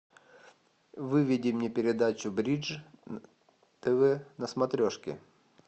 выведи мне передачу бридж тв на смотрешке